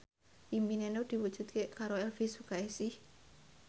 impine Nur diwujudke karo Elvi Sukaesih